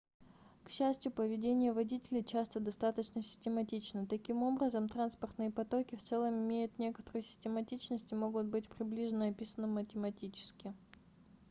к счастью поведение водителей часто достаточно систематично таким образом транспортные потоки в целом имеют некоторую систематичность и могут быть приближенно описаны математически